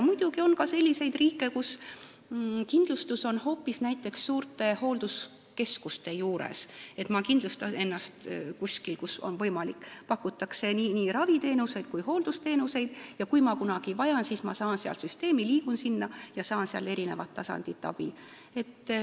Muidugi on ka selliseid riike, kus kindlustus on hoopis näiteks suurte hoolduskeskuste juures, et ma kindlustan ennast seal, kus on võimalik, seal pakutakse nii raviteenuseid kui ka hooldusteenuseid ning kui ma kunagi vajan, siis ma saan sealtkaudu liikuda süsteemi ja saan eri tasandi abi.